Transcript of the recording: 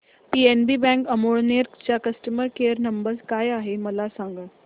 PNB bank Amalner चा customer care number काय आहे मला सांगा